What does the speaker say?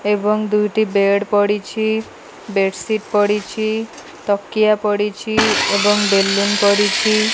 ଏବଂ ଦୁଇଟି ବେଡ୍ ପଡ଼ିଛି। ବେଡ଼ସିଟ୍ ପଡ଼ିଛି। ତକିଆ ପଡ଼ିଛି ଏବଂ ବେଲୁନ ପଡ଼ିଛି।